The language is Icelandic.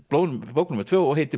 bók númer tvö og heitir